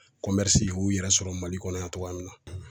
u y'u yɛrɛ sɔrɔ Mali kɔnɔ yan togoya min na.